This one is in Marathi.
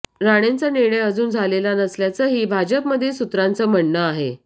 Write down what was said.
राणेंचा निर्णय अजून झालेला नसल्याचंही भाजपमधील सूत्रांचं म्हणणं आहे